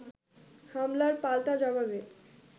হামলার পাল্টা জবাবে